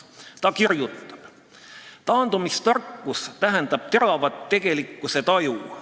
Ta kirjutab: "Taandumistarkus tähendab teravat tegelikkusetaju.